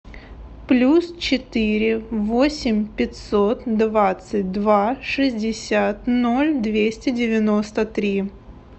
плюс четыре восемь пятьсот двадцать два шестьдесят ноль двести девяносто три